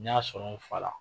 Ne y'a sɔrɔ n fa la.